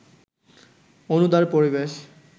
অনুদার পরিবেশ